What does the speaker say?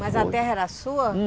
Mas a terra era sua?